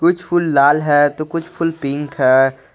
कुछ फूल लाल है तो कुछ फूल पिंक है।